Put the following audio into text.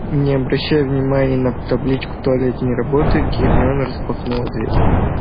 и не обращая внимания на табличку туалет не работает гермиона распахнула дверь